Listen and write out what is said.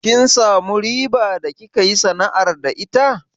Kin samu riba da kika yi sana'ar da ita?